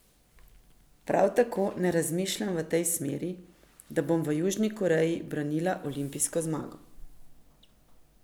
Prav tako ne razmišljam v tej smeri, da bom v Južni Koreji branila olimpijsko zmago.